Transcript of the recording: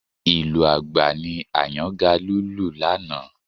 Ìlù àgbá ni Àyàngalú lù lánàá